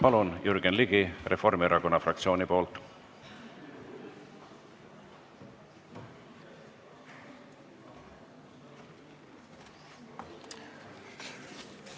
Palun, Jürgen Ligi Reformierakonna fraktsiooni nimel!